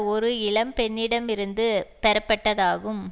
ஒரு இளம் பெண்ணிடமிருந்து பெறப்பட்டதாகும்